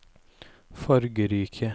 fargerike